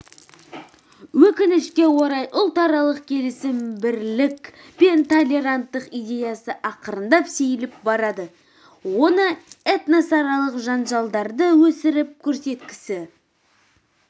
өкінішке орай ұлтаралық келісім бірлік пен толеранттылық идеясы ақырындап сейіліп барады оны этносаралық жанжалдарды өсіріп көрсеткісі